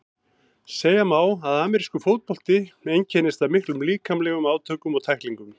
Segja má að amerískur fótbolti einkennist af miklum líkamlegum átökum og tæklingum.